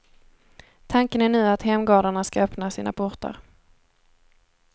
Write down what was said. Tanken är nu att hemgårdarna ska öppna sina portar.